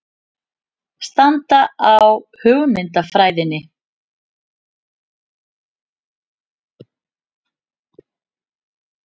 Stranda á hugmyndafræðinni